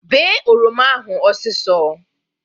Bee oroma ahụ ọsisọ